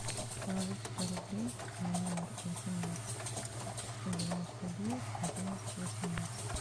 положить сто рублей на номер восемнадцать сто девяносто девять одиннадцать восемнадцать